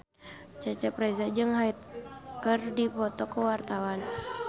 Cecep Reza jeung Hyde keur dipoto ku wartawan